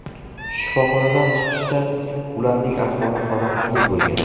Shifoxonadan chiqishda ularning ahvoli qoniqarli bo‘lgan.